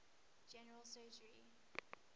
general surgery